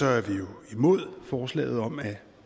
er vi jo imod forslaget om at